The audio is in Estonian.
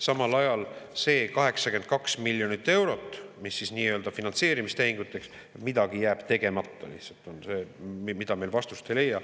Samal ajal see 82 miljonit eurot, mis on nii-öelda finantseerimistehinguteks – midagi jääb tegemata lihtsalt, mille kohta me vastust ei leia.